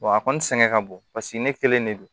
a kɔni sɛgɛn ka bon paseke ne kelen de don